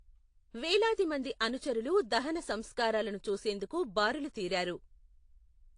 వేలాది మంది అనుచరులు దహన సంస్కారాలను చూసేందుకు బారులు తీరారు.